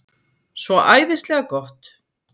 Svo æðislega gott.